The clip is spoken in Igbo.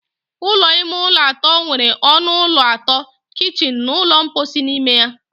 Ụlọ ime ụlọ atọ nwere ọnụ ụlọ atọ, kichin na ụlọ mposi n'ime ya.